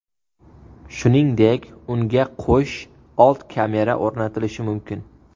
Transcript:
Shuningdek, unga qo‘sh old kamera o‘rnatilishi mumkin.